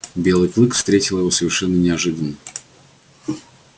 белый клык встретил его совершенно неожиданно